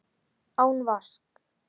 Án vasks.